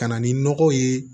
Ka na ni nɔgɔw ye